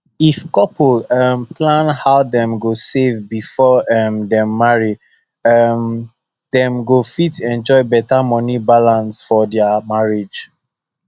if couple um plan how dem go save before um dem marry um dem go fit enjoy better money balance for their marriage